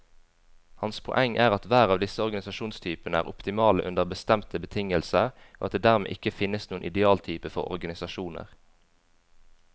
Hans poeng er at hver av disse organisasjonstypene er optimale under bestemte betingelser, og at det dermed ikke finnes noen idealtype for organisasjoner.